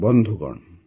ବନ୍ଧୁଗଣ